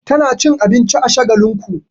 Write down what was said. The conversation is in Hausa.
Tana cin abinci a Shagalinku.